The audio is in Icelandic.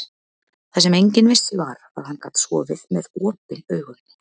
Það sem enginn vissi var, að hann gat sofið með OPIN AUGUN.